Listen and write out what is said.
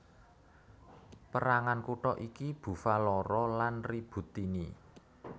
Pérangan kutha iki Bufalara lan Ributtini